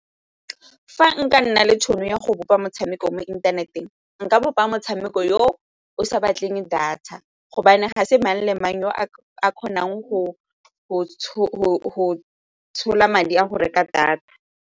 Fa nka nna le tšhono ya go bopa motshameko mo inthaneteng nka bopa motshameko yo o sa batleng data gobane ga se mang le mang yo a kgonang go tshola madi a go reka data.